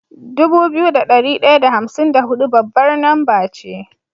Dubu biyu da dari daya da hamsin da hudu babbar namba ce